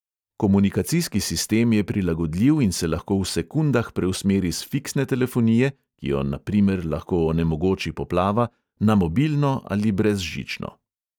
Komunikacijski sistem je prilagodljiv in se lahko v sekundah preusmeri s fiksne telefonije – ki jo, na primer, lahko onemogoči poplava – na mobilno ali brezžično.